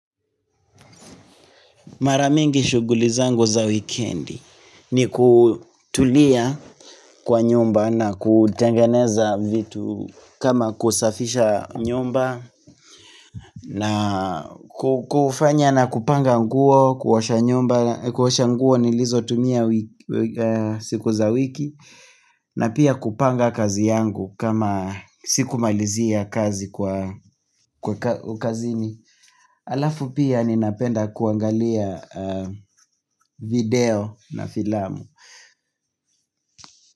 Mara mingi shughuli zangu za wikendi ni kutulia kwa nyumba na kutengeneza vitu kama kusafisha nyumba na kufanya na kupanga nguo, kuosha nyumba, kuosha nguo nilizotumia siku za wiki na pia kupanga kazi yangu kama sikumalizia kazi kwa kazini. Alafu pia ninapenda kuangalia video na filamu.